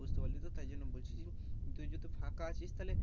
বুঝতে পারলে তো তাই জন্য বলছি তুই যদি ফাঁকা আছিস তাহলে